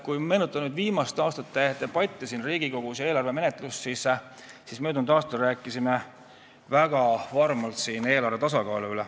Kui meenutada viimaste aastate eelarvemenetlust ja debatte siin Riigikogus, siis möödunud aastal rääkisime väga varmalt eelarve tasakaalust.